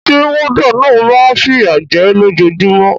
Sé warder náà ma n fìyà je lójojúmó